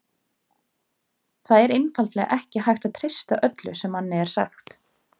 Það er einfaldlega ekki hægt að treysta öllu sem manni er sagt.